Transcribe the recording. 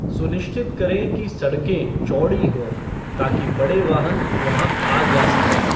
सुनिश्चित करें कि सड़कें चौड़ी हों ताकि बड़े वाहन वहां आ जा सकें।